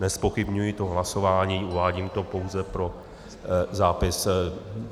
Nezpochybňuji to hlasování, uvádím to pouze pro zápis.